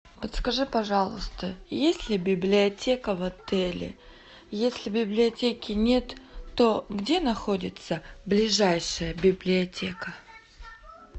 подскажи пожалуйста есть ли библиотека в отеле если библиотеки нет то где находится ближайшая библиотека